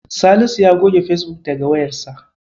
Salisu ya goge Fesbuk daga wayarsa.